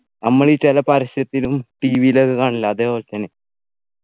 നമ്മളീ ചില പരസ്യത്തിലും TV യിലും ഒക്കെ കാണുന്നില്ലേ അതേപോലെതന്നെ